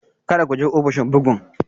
Kada ku je ofishin bugun!